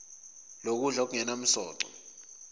lokudla okungenam soco